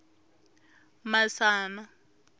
masana